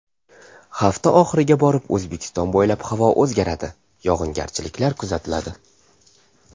Hafta oxiriga borib O‘zbekiston bo‘ylab havo o‘zgaradi, yog‘ingarchiliklar kuzatiladi.